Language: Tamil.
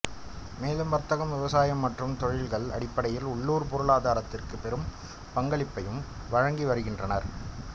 மேலும் வர்த்தகம் விவசாயம் மற்றும் தொழில்கள் அடிப்படையில் உள்ளூர் பொருளாதாரத்திற்கு பெரும் பங்களிப்பையும் வழங்கி வருகின்றனர்